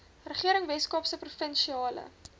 regering weskaapse provinsiale